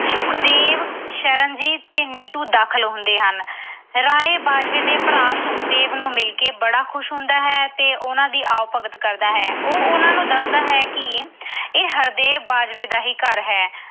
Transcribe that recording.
ਸੁਖਦੇਵ, ਸ਼ਰਨਜੀਤ ਤੇ ਨਿੱਟੂ ਦਾਖਲ ਹੁੰਦੇ ਹਨ। ਰਾਏ ਬਾਜਵੇ ਦੇ ਭਰਾ ਸੁਖਦੇਵ ਨੂੰ ਮਿਲ ਕੇ ਬੜਾ ਖੁਸ਼ ਹੁੰਦਾ ਹੈ ਤੇ ਉਹਨਾਂ ਦੀ ਆਉ-ਭਗਤ ਕਰਦਾ ਹੈ। ਉਹ ਉਹਨਾਂ ਨੂੰ ਦੱਸਦਾ ਹੈ ਕਿ ਇਹ ਹਰਦੇਵ ਬਾਜਵੇ ਦਾ ਹੀ ਘਰ ਹੈ।